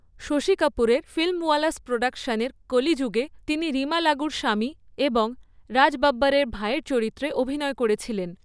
শশী কাপুরের ফিল্মওয়ালাস প্রোডাকশনের কলিযুগে তিনি রীমা লাগুর স্বামী এবং রাজ বব্বরের ভাইয়ের চরিত্রে অভিনয় করেছিলেন।